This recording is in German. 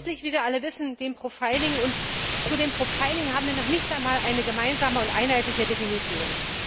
Sie dienen letztlich, wie wir alle wissen, dem Profiling, und für Profiling gibt es noch nicht einmal eine gemeinsame und einheitliche Definition.